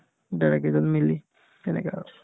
দাদাকেইজন মিলি তেনেকে আৰু